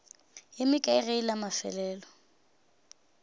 ye mekae ge la mafelelo